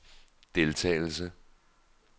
deltagelse